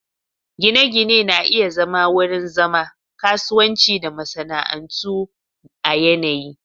Gine-gine na iya zama wurin zama, kasuwanci da masana'antu a yanayi